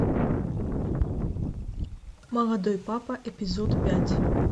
молодой папа эпизод пять